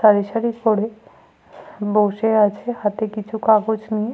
সারি সারি করে বসে আছে হাতে কিছু কাগজ নিয়ে।